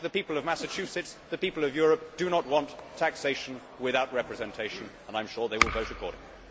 Like the people of Massachusetts, the people of Europe do not want taxation without representation, and I am sure they will vote accordingly.